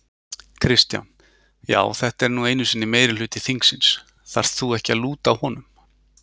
Kristján: Já þetta er nú einu sinni meirihluti þingsins, þarft þú ekki að lúta honum?